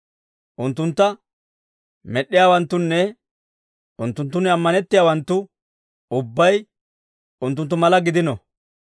Unttuntta med'd'iyaawanttunne, unttunttun ammanettiyaawanttu ubbay unttunttu mala gidino.